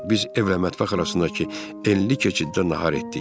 Biz evlə mətbəx arasındakı enli keçiddə nahar etdik.